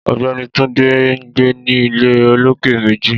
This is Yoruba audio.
Ọ̀gbẹ́ni Túndé ńgbé ní ilé olókè méjì